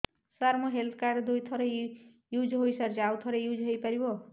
ସାର ମୋ health card ଦୁଇ ଥର ୟୁଜ଼ ହୈ ସାରିଛି ଆଉ କେତେ ଥର ୟୁଜ଼ ହୈ ପାରିବ